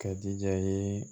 Ka jija yen